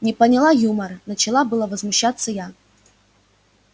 не поняла юмора начала было возмущаться я